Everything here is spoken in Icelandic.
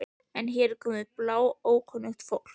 En hér er komið bláókunnugt fólk.